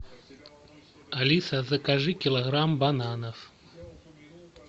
алиса закажи килограмм бананов